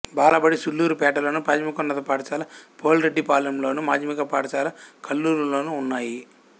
బాలబడి సూళ్ళూరుపేటలోను ప్రాథమికోన్నత పాఠశాల పోలిరెడ్డిపాలెంలోను మాధ్యమిక పాఠశాల కల్లూరులోనూ ఉన్నాయి